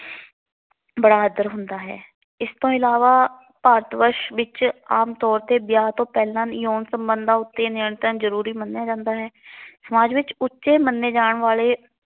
ਬੜਾ ਆਦਰ ਹੁੰਦਾ ਹੈ। ਇਸ ਤੋਂ ਇਲਾਵਾ ਭਾਰਤ ਵਸ਼ ਵਿੱਚ ਵਿਆਹ ਤੋਂ ਪਹਿਲਾ ਆਮ ਤੋਰ ਤੇ ਯੋਨ ਸੰਬੰਧਾਂ ਉੱਤੇ ਨਿਰੰਤਰਣ ਜ਼ਰੂਰੀ ਮੰਨਿਆ ਜਾਂਦਾ ਹੈ। ਸਮਾਜ ਵਿਚ ਉਚੇ ਮੰਨੇ ਜਾਣ ਵਾਲੇ